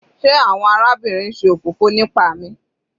Sé àwọn arábìnrin ṣe òfófó nipa mi?